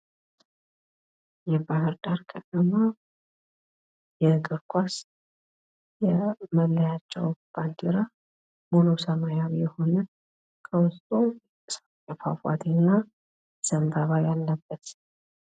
የባህር ዳር ከተማ የእግር ኳስ የመለያቸው ባንዲራ ሙሉ ሰማያዊ የሆነ በውስጡ የጭስ አባይ ፏፏቴ እና ዘንባባ ያለበት ነው።